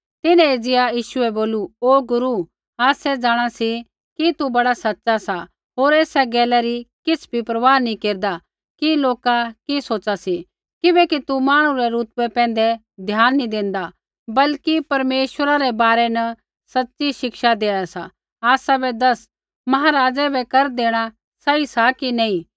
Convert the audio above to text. तिन्हैं एज़िया यीशु बै बोलू गुरू आसै जाँणा सी कि तू बड़ा सच़ा सा होर एसा गैला री किछ़ भी परवाह नी केरदा कि लोका कि सोच़ा सी किबैकि तू मांहणु रै रुतवै पैंधै ध्यान नी देंदा बल्कि परमेश्वर रै बारै न सच़ी शिक्षा देआ सा आसाबै दस महाराजै बै कर देणा सही सा कि नी